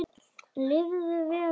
Lifðu vel góða móðir.